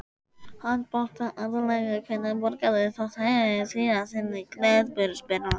Handbolta aðallega Hvenær borgaðir þú þig síðast inn á knattspyrnuleik?